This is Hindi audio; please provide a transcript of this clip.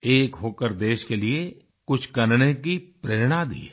एक होकर देश के लिए कुछ करने की प्रेरणा दी है